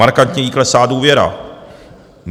Markantně jí klesá důvěra.